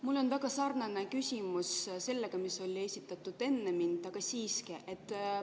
Mul on väga sarnane küsimus sellega, mis oli esitatud enne mind, aga siiski.